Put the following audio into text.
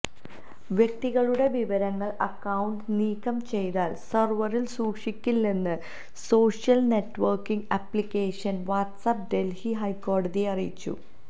വ്യക്തികളുടെ വിവരങ്ങള് അക്കൌണ്ട് നീക്കം ചെയ്താല് സെര്വറില് സൂക്ഷിക്കില്ലെന്ന് social networking application WhatsApp Delhi ഹൈക്കോടതിയെ അറിയിച്ചു